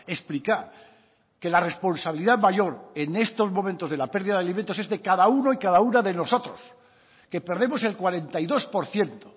explicar que la responsabilidad mayor en estos momentos de la pérdida de alimentos es de cada uno y cada una de nosotros que perdemos el cuarenta y dos por ciento